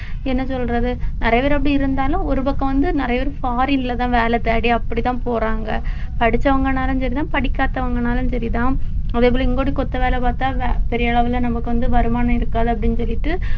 என்ன சொல்றது நிறைய பேர் அப்படி இருந்தாலும் ஒரு பக்கம் வந்து நிறைய பேர் foreign ல தான் வேலை தேடி அப்படிதான் போறாங்க படிச்சவங்கனாலும் சரிதான் படிக்காதவங்கனாலும் சரிதான் அதே போல இங்கூட்டுக்கு கொத்த வேலை பார்த்தா பெரிய அளவுல நமக்கு வந்து வருமானம் இருக்காது அப்படின்னு சொல்லிட்டு